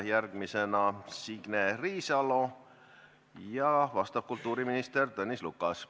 Järgmisena küsib Signe Riisalo ja vastab kultuuriminister Tõnis Lukas.